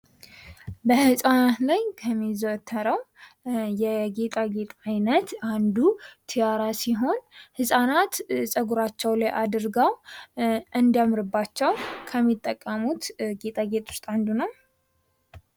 በህጻናት ላይ ከሚዘወተረው የጌጣ ጌጥ ዓይነት አንዱ ቲያራ ሲሆን፤ ህጻናት ፀጉራቸው ላይ አድርገው እንዲያምርባቸው ከሚጠቀሙት ጌጣጌጥ ውስጥ አንዱ ነው።